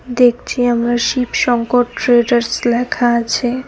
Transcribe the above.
দেখছি আমরা শিব শংকর ট্রেডার্স লেখা আছে।